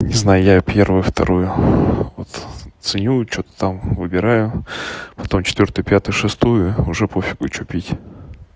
не знаю я первую вторую вот ценю что-то там выбираю потом четвёртую пятую шестую уже пофигу что пить